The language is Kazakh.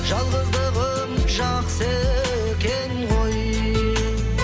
жалғыздығым жақсы екен ғой